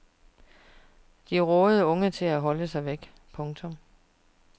De rådede unge til at holde sig væk. punktum